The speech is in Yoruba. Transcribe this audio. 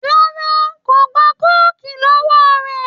Rárá kò gba kóòkì lọ́wọ́ rẹ̀